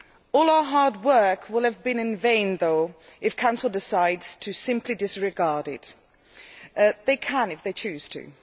All our hard work will have been in vain, though, if the Council decides to simply disregard it. They can if they choose to.